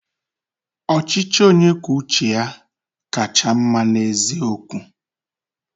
Ọchịchị onye kwuo uche ya kacha mma n'eziokwu.